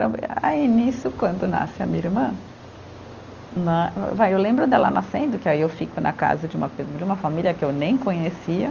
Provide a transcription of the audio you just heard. Aí, nisso, quando nasce a minha irmã, né. Vai, eu lembro dela nascendo, que aí eu fico na casa de uma de uma família que eu nem conhecia.